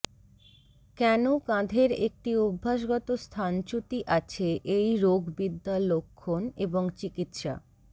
কেন কাঁধের একটি অভ্যাসগত স্থানচ্যুতি আছে এই রোগবিদ্যা লক্ষণ এবং চিকিত্সা